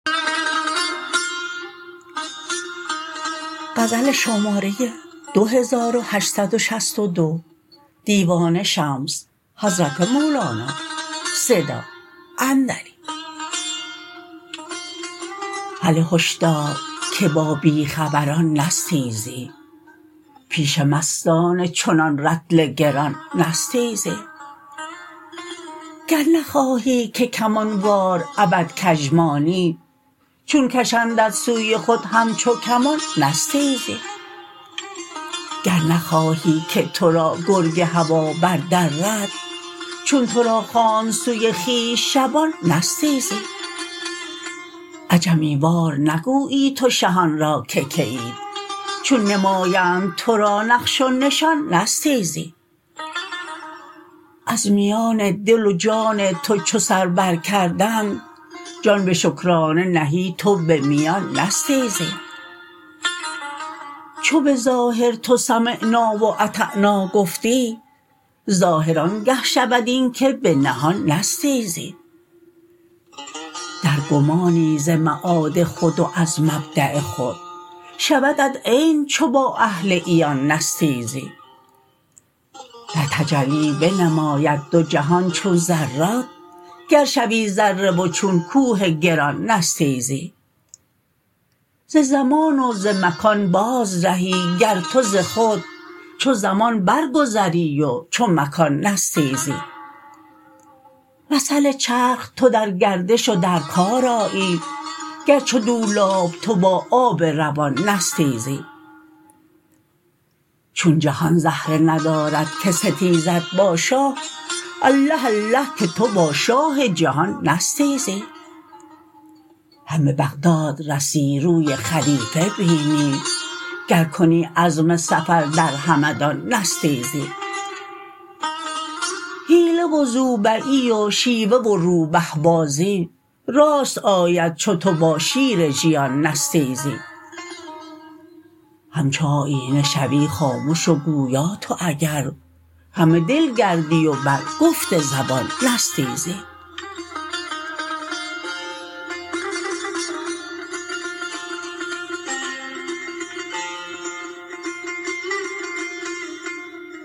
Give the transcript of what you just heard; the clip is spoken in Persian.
هله هشدار که با بی خبران نستیزی پیش مستان چنان رطل گران نستیزی گر نخواهی که کمان وار ابد کژ مانی چون کشندت سوی خود همچو کمان نستیزی گر نخواهی که تو را گرگ هوا بردرد چون تو را خواند سوی خویش شبان نستیزی عجمی وار نگویی تو شهان را که کیید چون نمایند تو را نقش و نشان نستیزی از میان دل و جان تو چو سر برکردند جان به شکرانه نهی تو به میان نستیزی چو به ظاهر تو سمعنا و اطعنا گفتی ظاهر آنگه شود این که به نهان نستیزی در گمانی ز معاد خود و از مبدا خود شودت عین چو با اهل عیان نستیزی در تجلی بنماید دو جهان چون ذرات گر شوی ذره و چون کوه گران نستیزی ز زمان و ز مکان بازرهی گر تو ز خود چو زمان برگذری و چو مکان نستیزی مثل چرخ تو در گردش و در کار آیی گر چو دولاب تو با آب روان نستیزی چون جهان زهره ندارد که ستیزد با شاه الله الله که تو با شاه جهان نستیزی هم به بغداد رسی روی خلیفه بینی گر کنی عزم سفر در همدان نستیزی حیله و زوبعی و شیوه و روبه بازی راست آید چو تو با شیر ژیان نستیزی همچو آیینه شوی خامش و گویا تو اگر همه دل گردی و بر گفت زبان نستیزی